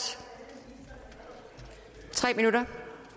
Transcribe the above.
i tre minutter